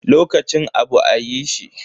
Lokacin abu a yi shi.